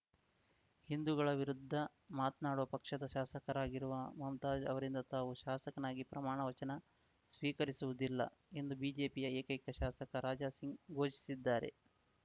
ಹಿಂದುಗಳ ವಿರುದ್ಧ ಮಾತ್ನಾಡುವ ಪಕ್ಷದ ಶಾಸಕರಾಗಿರುವ ಮುಮ್ತಾಜ್‌ ಅವರಿಂದ ತಾವು ಶಾಸಕನಾಗಿ ಪ್ರಮಾಣವಚನ ಸ್ವೀಕರಿಸುವುದಿಲ್ಲ ಎಂದು ಬಿಜೆಪಿಯ ಏಕೈಕ ಶಾಸಕ ರಾಜಾ ಸಿಂಗ್‌ ಘೋಷಿಸಿದ್ದಾರೆ